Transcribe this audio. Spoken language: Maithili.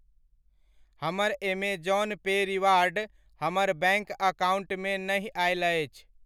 हमर ऐमेज़ौन पे रिवार्ड हमर बैङ्क अकाउण्टमे नहि आयल अछि।